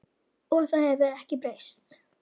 Og það hefur ekkert breyst.